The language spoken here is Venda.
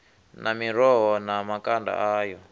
na miroho na makanda ayo